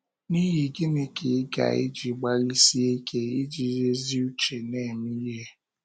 N’ihi gịnị ka ị ga - eji gbalịsie ike, iji ezi uche na - eme ihe?